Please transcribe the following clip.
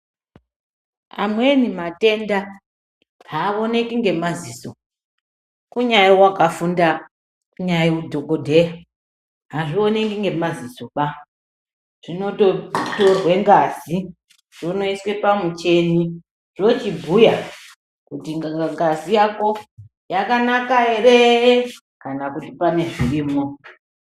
Amweni matenda hawoneki ngemaziso, kunyae wakafunda kunyae dhokodheya hazvioneki ngemazisoba, zvinototorwe ngazi zvonoiswe pamucheni zvochibhuya kuti ngazi yakonyakanakanere kana kuti pane zvirimwo.